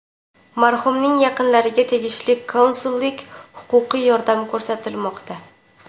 Marhumning yaqinlariga tegishli konsullik-huquqiy yordam ko‘rsatilmoqda.